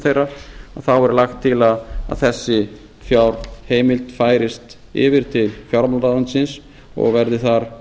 þeirra þá er lagt til að þessi fjárheimild færist yfir til fjármálaráðuneytisins og verði þar